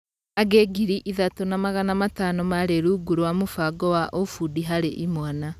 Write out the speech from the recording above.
Angĩ ngiri ithatũ na magana matano marĩ rungu rwa mũbango wa " ũfundi harĩ imwana".